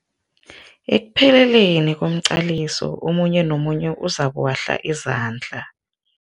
Ekpheleleni komqaliso omunye nomunye uzokuwahla izandla.